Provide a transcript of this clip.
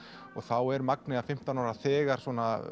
og þá er Magnea fimmtán ára þegar